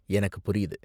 எனக்குப் புரியுது.